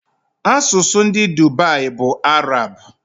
Asụsụ ndị Dubai bụ Arab